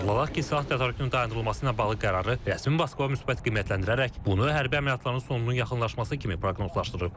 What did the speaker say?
Xatırladaq ki, silah tədarükünün dayandırılması ilə bağlı qərarı rəsmi Moskva müsbət qiymətləndirərək bunu hərbi əməliyyatların sonunun yaxınlaşması kimi proqnozlaşdırıb.